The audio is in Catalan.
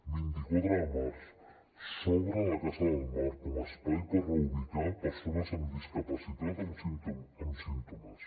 vint quatre de març s’obre la casa del mar com a espai per reubicar persones amb discapacitat amb símptomes